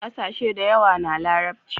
kasashe da yawa na larabci